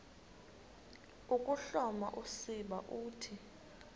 ukuhloma usiba uthi